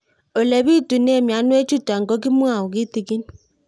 Ole pitune mionwek chutok ko kimwau kitig'ín